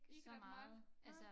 Ikke ret meget nej